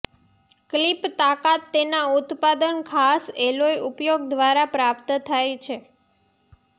clip તાકાત તેના ઉત્પાદન ખાસ એલોય ઉપયોગ દ્વારા પ્રાપ્ત થાય છે